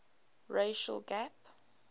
racial gap